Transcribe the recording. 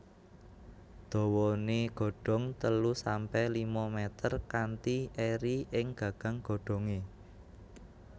Dawané godong telu sampe lima mèter kanthi eri ing gagang godhongé